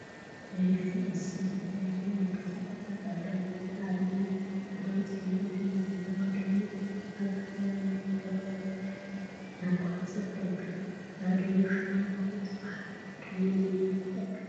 ናይ ገዛ እንስሳት ዝተፈላዩ ናይ ገዛ እንስሳት አለው፡፡ ንአብነት ፃዕዳን ፀሊምን ሕብሪ ዘለዋ ድሙ አብ ሓመደዋይ መንገዲ እናቋረፀት ትርከብ፡፡ እዛ ድሙ ሽማ ቡሩ ትበሃል፡፡ ድሙ ንምንታይ ትጠቅም?